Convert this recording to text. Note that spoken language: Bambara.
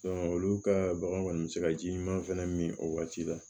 olu ka bagan kɔni bɛ se ka ji ɲuman fana min o waati la